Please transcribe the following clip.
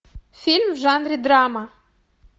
фильм в жанре драма